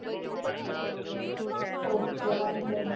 okay વાંઘો ની